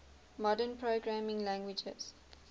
modern programming languages